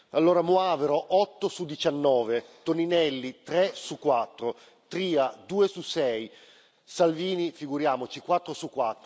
Allora Moavero 8 su 19, Toninelli 3 su 4, Tria 2 su 6, Salvini figuriamoci 4 su